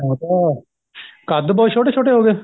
ਹੁਣ ਤਾਂ ਕੱਦ ਬਹੁਤ ਛੋਟੇ ਛੋਟੇ ਹੋ ਗਏ